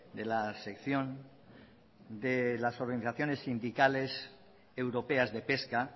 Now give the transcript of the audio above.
de la sección de las organizaciones sindicales europeas de pesca